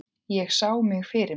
Ég sá mig fyrir mér.